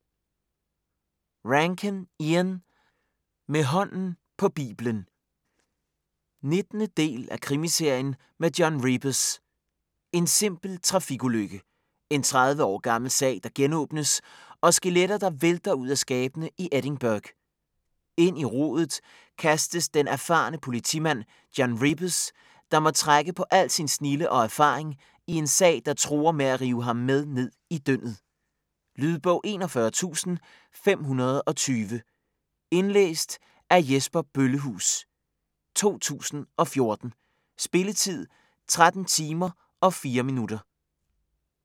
Rankin, Ian: Med hånden på biblen 19. del af krimiserien med John Rebus. En simpel trafikulykke. En 30 år gammel sag der genåbnes, og skeletter, der vælter ud af skabene i Edinburgh. Ind i rodet kastes den erfarne politimand John Rebus, der må trække på al sin snilde og erfaring i en sag, der truer med at rive ham med ned i dyndet. Lydbog 41520 Indlæst af Jesper Bøllehuus, 2014. Spilletid: 13 timer, 4 minutter.